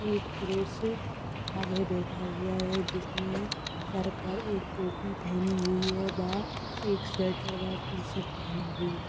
एक पुरुष आगे बैठा हुआ है। जिसने सर पर एक टोपी पहनी हुई है बा एक स्वेटर वा टी-शर्ट पहनी हुई है।